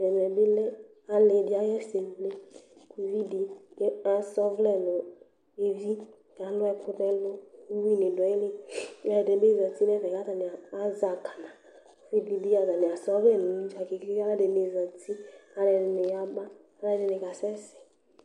Ɛmɛ bi lɛ ali di ayi ɛsɛ wlé k'uvi di àsa ɔvlɛ nu evi k'alù ɛku n'ɛlu k'uwi di du ayili, ɛdi bi zati n'ɛfɛ k'atani azɛ akana k'uvi di bi atani àsa ɔvlɛ n'edzua kenkenke , k'sluɛdi zati, k'aluɛdini yaba, k'aluɛdini ka sɛsɛ̃